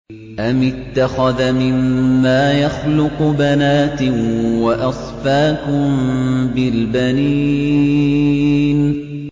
أَمِ اتَّخَذَ مِمَّا يَخْلُقُ بَنَاتٍ وَأَصْفَاكُم بِالْبَنِينَ